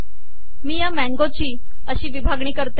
मी या मँगोची अशी विभागणी करते